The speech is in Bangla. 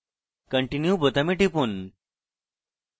continue বোতামে টিপুন